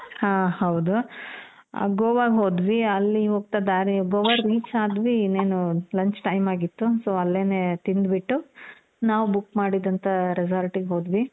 ಹಾ ಹೌದು ಗೋವಾ ಗೆ ಹೋದ್ವಿ. ಅಲ್ಲಿ ಹೋಗ್ತಾ ದಾರಿ, ಗೋವಾ reach ಆದ್ವಿ ಇನ್ನೇನು lunch time ಆಗಿತ್ತು, so ಅಲ್ಲನೆ ತಿಂದು ಬಿಟ್ಟು ನಾವು book ಮಾಡಿದಂತ resort ಗೆ ಹೋದ್ವಿ